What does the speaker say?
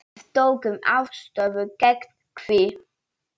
Við tökum afstöðu gegn því.